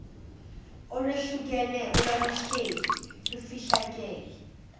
olwehlukene olwaluhleli lufihlakele